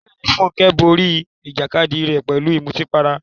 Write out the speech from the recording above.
Bẹ́ẹ̀ni, Funke borí ìjàkadì rẹ̀ pẹ̀lú ìmutípara.